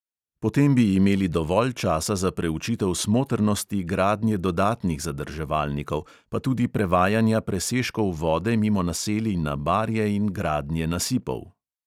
Potem bi imeli dovolj časa za preučitev smotrnosti gradnje dodatnih zadrževalnikov, pa tudi prevajanja presežkov vode mimo naselij na barje in gradnje nasipov.